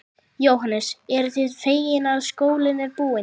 Jóhannes: Eruð þið fegin að skólinn sé búinn?